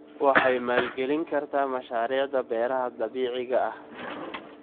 Waxay maalgelin kartaa mashaariicda beeraha dabiiciga ah.